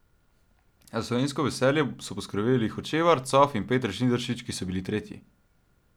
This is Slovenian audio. Za slovensko veselje so poskrbeli Hočevar, Cof in Peter Žnidaršič, ki so bili tretji.